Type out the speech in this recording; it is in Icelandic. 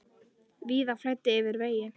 Víða flæddi yfir vegi.